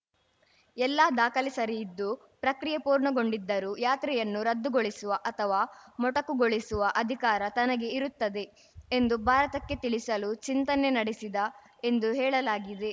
ಎಲ್ಲ ದಾಖಲೆ ಸರಿ ಇದ್ದು ಪ್ರಕ್ರಿಯೆ ಪೂರ್ಣಗೊಂಡಿದ್ದರೂ ಯಾತ್ರೆಯನ್ನು ರದ್ದುಗೊಳಿಸುವ ಅಥವಾ ಮೊಟಕುಗೊಳಿಸುವ ಅಧಿಕಾರ ತನಗೆ ಇರುತ್ತದೆ ಎಂದು ಭಾರತಕ್ಕೆ ತಿಳಿಸಲು ಚಿಂತನೆ ನಡೆಸಿದ ಎಂದು ಹೇಳಲಾಗಿದೆ